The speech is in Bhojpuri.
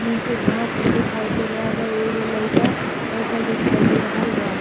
नीचे घास भी देखाई दे रहल बा। एगो लईका बइठल देखाई दे रहल बा।